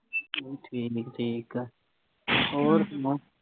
ਠੀਕ ਠੀਕ ਆ ਹੋਰ ਸੁਣਾ।